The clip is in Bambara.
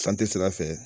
sira fɛ